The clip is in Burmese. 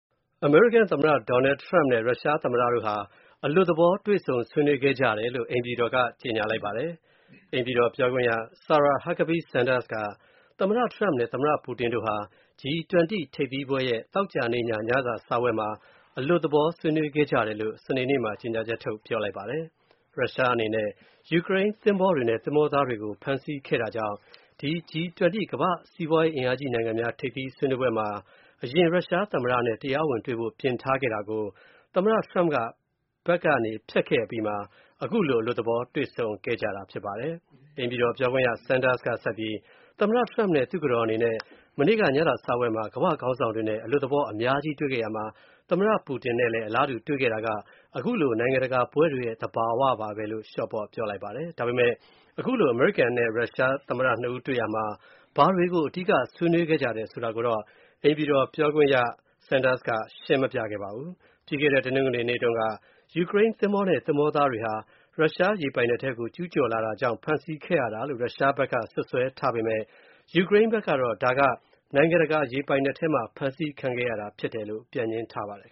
အမေရိကန်သမ္မတ Donald Trump နဲ့ ရုရှားသမ္မတို့ဟာ အလွတ်သဘောတွေ့ဆုံ ဆွေးနွေးခဲ့ကြတယ်လို့ အိမ်ဖြူတော်က ကြေညာလိုက်ပါတယ်။ အိမ်ဖြူတော်ပြောခွင့်ရ Sarah Huckabee Sanders က သမ္မတ Trump နဲ့ သမ္မတ Putin တို့ဟာ G-20 ထိပ်သီးပွဲရဲ့ သောကြာနေ့ည ညစာစားပွဲမှာ အလွတ်သဘောဆွေးနွေးခဲကြတယ်လို့ စနေနေ့မှာ ကြေညာချက် ထုတ်ခဲ့တာပါ။ ရုရှားအနေနဲ့ ယူကရိန်းသင်္ဘောတွေနဲ့ သင်္ဘောသားတွေကို ဖမ်းဆီးခဲ့တာကြောင့် ဒီ G-20 ကမ္ဘာ့စီးပွားရေး အင်အားကြီးနိုင်ငံများ ထိပ်သီးဆွေးနွေးပွဲမှာ အရင် ရုရှားသမ္မတနဲ့ တရားဝင်တွေ့ဖို့ပြင်ထားခဲ့တာကို သမ္မတ Trump ဘက်က ဖျက်ခဲ့အပြီးမှာ ခုလို အလွတ်သဘောတွေ့ဆုံတာဖြစ်လာခဲ့တာပါ။ အိမ်ဖြူတော်ပြောခွင့်ရ Sanders က ဆက်ပြီး သမ္မတ Trump နဲ့ဇနီးတို့ မနေ့က ညစာစားပွဲမှာ ကမ္ဘာ့ခေါင်းဆောင်တွေနဲ့ အလွတ်သဘောအများကြီးတွေ့ခဲ့ရာမှာ သမ္မတ Putin နဲ့လည်း အလားတူ တွေ့ခဲ့တာကခုလို နိုင်ငံတကာပွဲတွေရဲ့ သဘာဝပါပဲလို့ ဆိုပါတယ်။ ဒါပေမဲ့ ခုလို အမေရိကန်နဲ့ ရုရှား သမ္မတ (၂) ဦးတွေ့ရာမှာ ဘာတွေကို အဓိက ဆွေးနွေးခဲ့ကြတယ် ဆိုတာ ကိုတော့ အိမ်ဖြူတော်ပြောခွင့်ရ Sanders က ရှင်းမပြခဲ့ပါဘူး။ ပြီးခဲ့တဲ တနင်္ဂနွေနေ့တုန်းက ယူကရိန်းသဘောၤနဲ့သဘောၤသားတွေဟာ ရုရှားရေပိုင်နက်ထဲကို ကျူးကျော်လာ တာကြောင့် ဖမ်းဆီးခဲ့ရတာလို့ ရုရှားက စွပ်စွဲထားပေမယ့် ယူကရိန်းဘက်ကတော့ ဒါက နိုင်ငံတကာ ရေပိုင်နက်ထဲမှာ ဖြစ်ခဲ့တာလို့ ပြန်ငြင်းထားပါတယ်